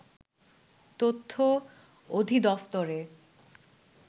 তথ্য অধিদফতরে